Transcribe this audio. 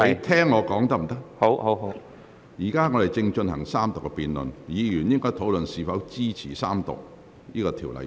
本會現正進行三讀辯論，議員應討論是否支持三讀《條例草案》。